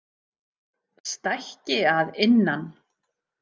Stækki að innan.